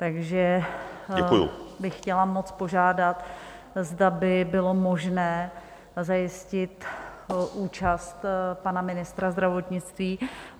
Takže bych chtěla moc požádat, zda by bylo možné zajistit účast pana ministra zdravotnictví.